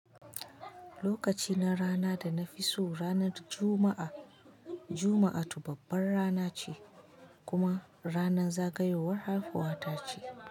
Lokaci na rana da na fi so ranar Juma'a. Juma'a toh babban rana ce kuma ranar zagayowar haihuwa ta ce.